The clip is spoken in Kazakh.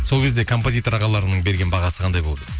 сол кезде композитор ағаларыңның берген бағасы қандай болды